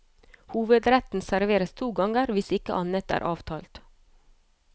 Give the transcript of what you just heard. Hovedretten serveres to ganger, hvis ikke annet er avtalt.